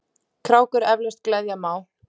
krákur eflaust gleðja má.